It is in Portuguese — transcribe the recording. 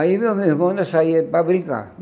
Aí eu mais meu irmão nós saía para brincar.